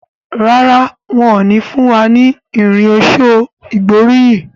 Ràrá wón ní fún wá ní Irin ọ̀ṣọ́ ìgbóríyìn.